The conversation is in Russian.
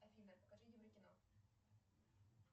афина покажи евро кино